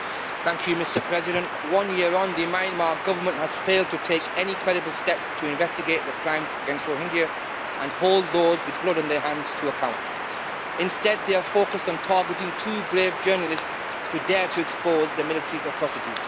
Mr President, one year on the Myanmar Government has failed to take any credible steps to investigate the crimes against Rohingya and hold those with blood on their hands to account. Instead they are focused on targeting two brave journalists who dare to expose the military's atrocities.